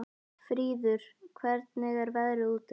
Fríður, hvernig er veðrið úti?